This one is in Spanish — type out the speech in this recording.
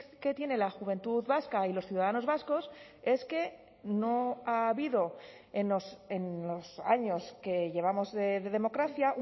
que tiene la juventud vasca y los ciudadanos vascos es que no ha habido en los años que llevamos de democracia